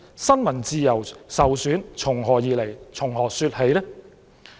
新聞自由受損從何說起？